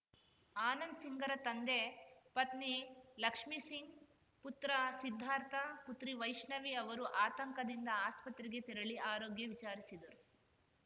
ಆನಂದ್‌ ಸಿಂಗ್‌ರ ತಂದೆ ಪತ್ನಿ ಲಕ್ಷ್ಮಿ ಸಿಂಗ್‌ ಪುತ್ರ ಸಿದ್ದಾರ್ಥ ಪುತ್ರಿ ವೈಷ್ಣವಿ ಅವರು ಆತಂಕದಿಂದ ಆಸ್ಪತ್ರೆಗೆ ತೆರಳಿ ಆರೋಗ್ಯ ವಿಚಾರಿಸಿದರು